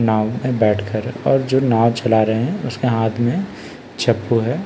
नाव बैठकर और जो नाव चला रहे हैं उसका हाथ में चप्पू है ।